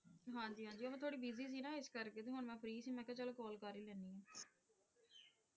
ਹਾਂਜੀ ਹਾਂਜੀ ਉਹ ਮੈਂ ਥੋੜੀ ਬਿਜ਼ੀ ਸੀ ਨਾ ਇਸ ਕਰਕੇ ਤੇ ਹੁਣ ਮੈਂ ਫ੍ਰੀ ਸੀ ਤੇ ਮੈਂ ਕਿਹਾ ਚੱਲ ਕਾਲ ਕਰ ਹੀ ਲੈਂਦੀ ਹਾਂ।